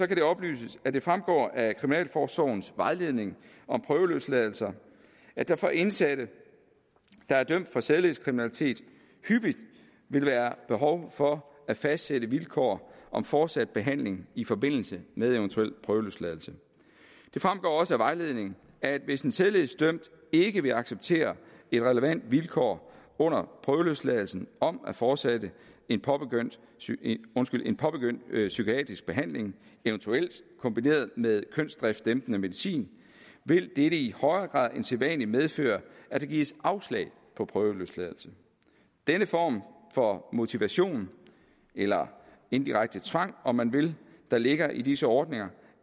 det oplyses at det fremgår af kriminalforsorgens vejledning om prøveløsladelser at der for indsatte der er dømt for sædelighedskriminalitet hyppigt vil være behov for at fastsætte vilkår om fortsat behandling i forbindelse med en eventuel prøveløsladelse det fremgår også af vejledningen at hvis en sædelighedsdømt ikke vil acceptere et relevant vilkår under prøveløsladelsen om at fortsætte en påbegyndt en påbegyndt psykiatrisk behandling eventuelt kombineret med kønsdriftsdæmpende medicin vil dette i højere grad end sædvanlig medføre at der gives afslag på prøveløsladelse denne form for motivation eller indirekte tvang om man vil der ligger i disse ordninger